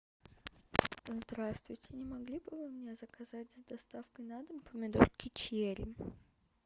здравствуйте не могли бы вы мне заказать с доставкой на дом помидорки черри